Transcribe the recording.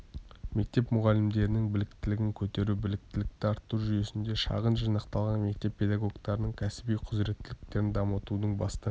мектеп мұғалімдерінің біліктілігін көтеру біліктілікті арттыру жүйесінде шағын жинақталған мектеп педагогтарының кәсіби құзыреттіліктерін дамытудың басты